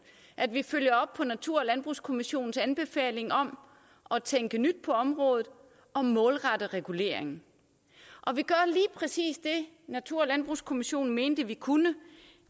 at vi følger op på natur og landbrugskommissionens anbefalinger om at tænke nyt på området og målrette reguleringen og vi gør lige præcis det natur og landbrugskommissionen mente vi kunne